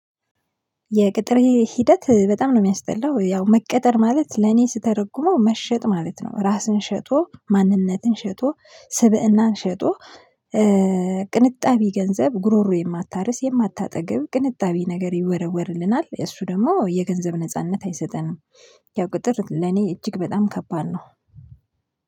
የቅጥር ሂደት በጣም ነው የሚያስጠላው ያው መቀጠር ማለት ለኔ ስተረጉመው መሸጥ ማለት ነው። ራስን ሸጦ ማንነትን ሸጦ ስብእናን ሸጦ። ቅንጣቢ ገንዘብ ጉሮሮ የማታርስ የማታጠግብ ቅንጣቢ ነገር ይወረወርልናል እሱ ደግሞ የገንዘብ ነጻነት አይሰጠንም። ያው ቅጥር ለኔ እጅግ በጣም ከባድ ነው።